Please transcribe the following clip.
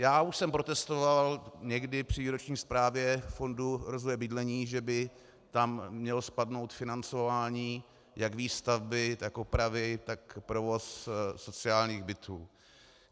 Já už jsem protestoval někdy při výroční zprávě fondu rozvoje bydlení, že by tam mělo spadnout financování jak výstavby, tak oprav, tak provozu sociálních bytů.